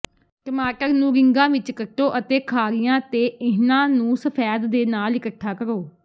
ਟਮਾਟਰ ਨੂੰ ਰਿੰਗਾਂ ਵਿੱਚ ਕੱਟੋ ਅਤੇ ਖਾਰੀਆਂ ਤੇ ਇਹਨਾਂ ਨੂੰ ਸਫੈਦ ਦੇ ਨਾਲ ਇੱਕਠਾ ਕਰੋ